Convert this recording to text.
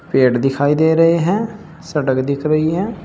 पेड़ दिखाई दे रहे हैं सड़क दिख रही है।